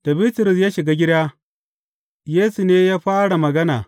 Da Bitrus ya shiga gida, Yesu ne ya fara magana.